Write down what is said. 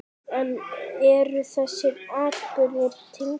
En eru þessir atburðir tengdir?